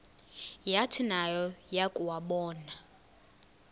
yathi nayo yakuwabona